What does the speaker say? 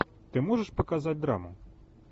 ты можешь показать драму